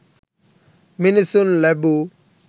මිනිසුන් ලැබූ